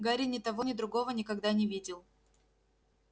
гарри ни того ни другого никогда не видел